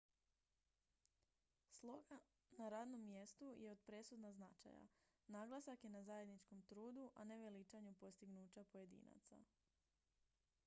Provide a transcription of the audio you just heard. sloga na radnom mjestu je od presudna značaja naglasak je na zajedničkom trudu a ne veličanju postignuća pojedinaca